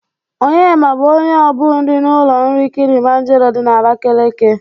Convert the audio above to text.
Onyema bụ onye obu nri n'ụlọ nri Kịlịmanjero dị na Abakeleke.